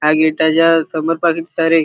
आणि त्याच्या समोर पहा सारे.